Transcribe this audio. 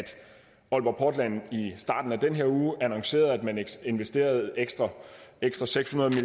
aalborg portland i starten af den her uge annoncerede at man investerede ekstra ekstra seks hundrede